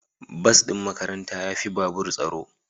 Bas din makaranta ya fi babur tsaro.